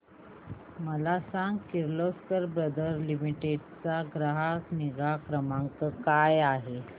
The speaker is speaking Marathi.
मला सांग किर्लोस्कर ब्रदर लिमिटेड चा ग्राहक निगा क्रमांक काय आहे